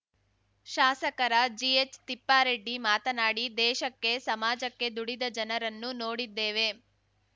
ಶಾಸಕರ ಜಿಎಚ್‌ತಿಪ್ಪಾರೆಡ್ಡಿ ಮಾತನಾಡಿ ದೇಶಕ್ಕೆ ಸಮಾಜಕ್ಕೆ ದುಡಿದ ಜನರನ್ನು ನೋಡಿದ್ದೇವೆ